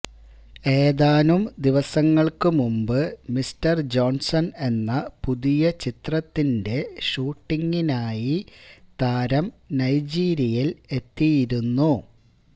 ഏതാനം ദിവസങ്ങള്ക്ക് മുന്പ് Mister Johnson എന്ന പുതിയ ചിത്രത്തിന്റെ ഷൂട്ടിംഗിനായി താരം നൈജീരിയില് എത്തിയിരുന്നു